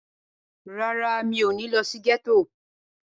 Rárá, mi ò ní lọ sí gẹ́tò.